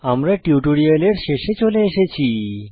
আমরা টিউটোরিয়ালের শেষে চলে এসেছি